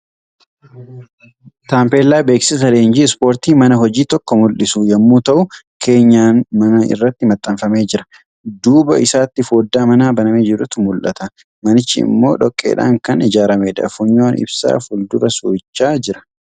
Taampeellaa beeksisa leenjii ispoortii mana hojii tokko mul'isu yommuu ta'u, Keenyan manaa irratti maxxanfamee jira. Duuba isaatti fooddaa manaa banamee jirtu mul'ata. Manichi immoo dhoqqeedhaan kan ijaaramedha. Funyoon ibsaa fuldura suurichaa jira.